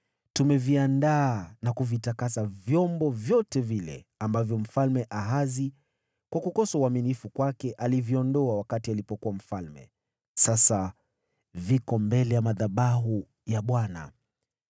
Tumeviandaa na kuvitakasa vyombo vyote vile ambavyo Mfalme Ahazi, kwa kukosa uaminifu kwake, aliviondoa wakati alipokuwa mfalme. Sasa viko mbele ya madhabahu ya Bwana .”